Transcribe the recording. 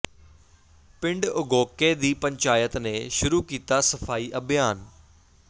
ਪਿੰਡ ਉਗੋਕੇ ਦੀ ਪੰਚਾਇਤ ਨੇ ਸ਼ੁਰੂ ਕੀਤਾ ਸਫ਼ਾਈ ਅਭਿਆਨ